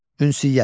Ünsiyyət.